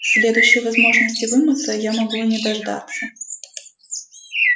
следующей возможности вымыться я могу и не дождаться